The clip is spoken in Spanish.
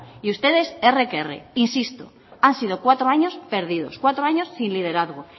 y ustedes erre que erre insisto han sido cuatro años perdidos cuatro años sin liderazgo